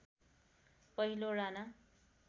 पहिलो राणा